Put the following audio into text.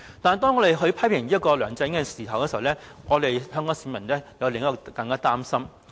但是，當我們批評梁振英的同時，香港市民卻有另一種擔心。